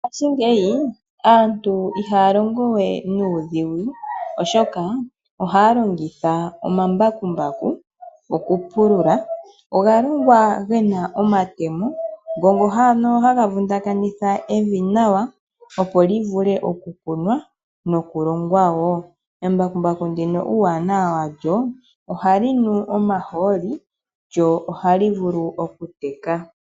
Mongashingeyi, aantu ihaa longo we nuudhigu, oshoka ohaa longitha omambakumbaku okupulula. Oga longwa ge na omatemo ngono ano haga vundakanitha evi nawa, opo li vule okukunwa nokulongwa wo. Embakumbaku ndino uuwanawa walyo, ohali nu omahooli, lyo ohali vulu okuteka.